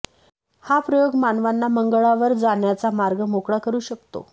हा प्रयोग मानवांना मंगळावर जाण्याचा मार्ग मोकळा करू शकतो